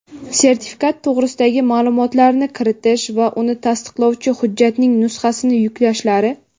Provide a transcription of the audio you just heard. sertifikat to‘g‘risidagi ma’lumotlarni kiritish va uni tasdiqlovchi hujjatning nusxasini yuklashlari;.